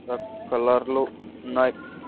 రక్-- కలర్ లో ఉన్నాయి.